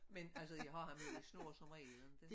Men altså jeg har ham jo i snor somregel ikke